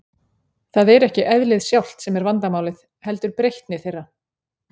Það er ekki eðlið sjálft sem er vandamálið, heldur breytni þeirra.